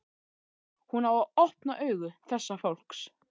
Hún á að opna augu þessa fólks.